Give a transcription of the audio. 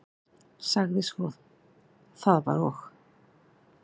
Sagði svo: Það var og